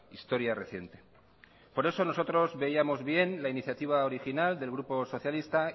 historia reciente por eso nosotros veíamos bien la iniciativa original del grupo socialista